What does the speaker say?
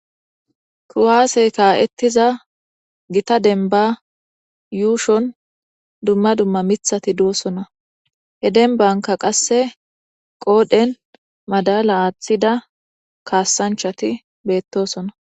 Kuwaasey kaa7ettiza gita denba yuushon dumma dumma mithati duosona he denbanka qasse qoodhen madala aaththida kaassanchati beettosona.